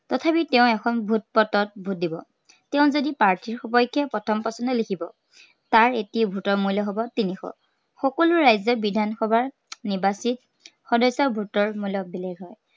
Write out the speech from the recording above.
তথাপি তেওঁ এখন vote পত্ৰত vote দিব। তেওঁ যদি প্ৰাৰ্থীৰ সপক্ষে প্ৰথম পচন্দ লিখিব, তাৰ এটি vote ৰ মূল্য় হ'ব তিনিশ। সকলো ৰাজ্য়ৰ বিধানসভাৰ নিৰ্বাচিত সদস্য়ৰ vote ৰ মূল্য় বেলেগ হয়।